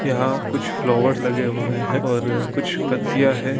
यहां कुछ फ्लावर्स लगे हुए हैं और कुछ पत्तियां है या --